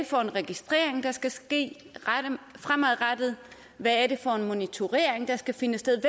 for en registrering der skal ske fremadrettet hvad for en monitorering der skal finde sted